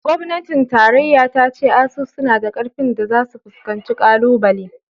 Gobnatin tarayya ta ce ASUU suna da ƙarfin da zasu fuskanci ƙalubale.